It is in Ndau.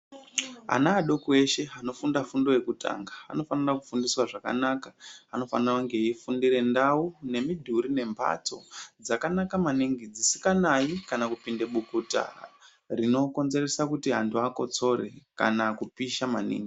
Ana adoko eshe anofunda fundo yekutanga, anofanira kufundiswa zvakanaka, anofanira kunge veyifunda ndawu, nemidhuri nembatso dzakanaka maningi dzisinganayi kana kupinde bukuta rinokonzeresa kuti vantu vakotsore kana kupisha maningi.